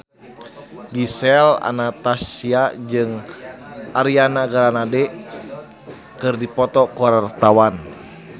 Gisel Anastasia jeung Ariana Grande keur dipoto ku wartawan